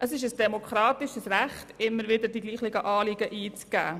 Es ist ein demokratisches Recht, immer wieder dieselben Anliegen einzubringen.